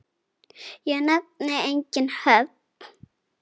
Ég nefni engin nöfn.